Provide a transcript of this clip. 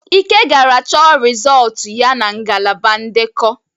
Ike gara chọ rịzọlt ya na ngalaba ndekọ.